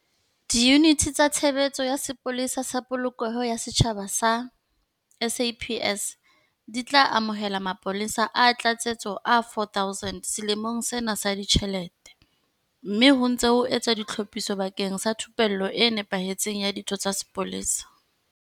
Diyuniti tsa Tshebeletso ya Sepolesa sa Polokeho ya Setjhaba tsa SAPS di tla amohela mapolesa a tlatsetso a 4 000 selemong sena sa ditjhelete, mme ho ntse ho etswa ditlhophiso bakeng sa thupello e nepahetseng ya ditho tsa sepolesa.